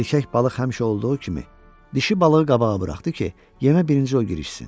Erkək balıq həmişə olduğu kimi dişi balığı qabağa buraxdı ki, yemə birinci o girişsin.